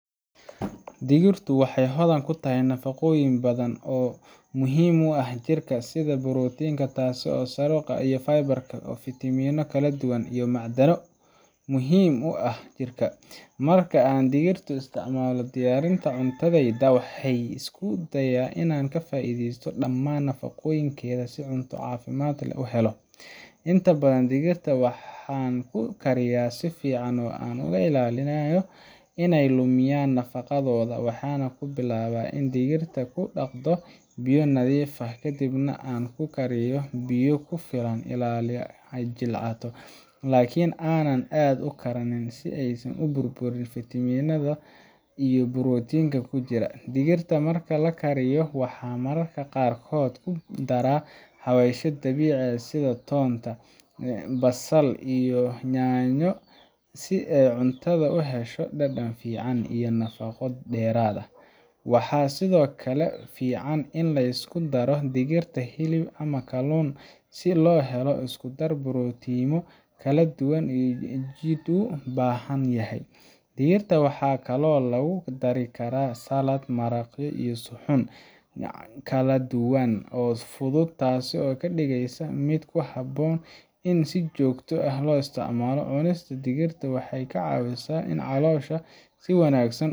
Digirta waxay hodan ku tahay nafaqooyin badan oo muhiim u ah jirka, sida borotiin tayo sare leh, fiber, fitamiino kala duwan, iyo macdano muhiim ah. Marka aan digirta u isticmaalo diyaarinta cuntadayda, waxaan isku dayaa inaan ka faa’iidaysto dhammaan nafaqooyinkeeda si cunto caafimaad leh loo helo. Inta badan, digirta waxaan ku kariyaa si fiican oo aan ka ilaalinayo inay lumiyaan nafaqadooda. Waxaan ku bilaabaa in aan digirta ku dhaqdo biyo nadiif ah, kadibna aan ku kariyo biyo ku filan ilaa ay jilcato, laakiin aanan aad u karkarin si aysan u burburin fiitamiinada iyo borotiinka ku jira. Digirta marka la kariyo, waxaan mararka qaarkood ku daraa xawaashyo dabiici ah sida toon, basal, iyo yaanyo si cuntada u hesho dhadhan fiican iyo nafaqo dheeraad ah. Waxaa sidoo kale fiican in la isku daro digirta hilib ama kalluun si loo helo isku-dar borotiinno kala duwan oo jidhku u baahan yahay. Digirta waxaa kaloo lagu dari karaa salads, maraqyo, iyo suxuun kaladuwan oo fudud, taas oo ka dhigaysa mid ku habboon in si joogto ah loo isticmaalo. Cunista digirta waxay ka caawisaa in caloosha si wanaagsan